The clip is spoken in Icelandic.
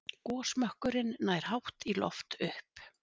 Gosmökkurinn nær hátt í loft upp.